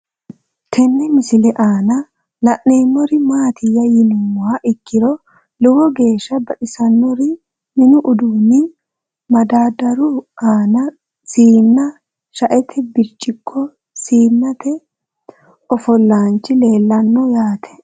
Tenne misile aanna la'neemmori maattiya yinummoha ikkiro lowo geesha baxisannori mini uduunni madadaru aanna siinna, shaette biricciqo, siinete ofolaanchi leelanno yaatte